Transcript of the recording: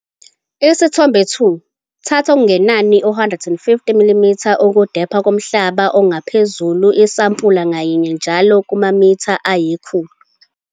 Isithombe 2. Thatha okungenani u-150 mm ukudepha komhlaba ongaphezulu isampula ngayinye njalo kumamitha ayikhulu.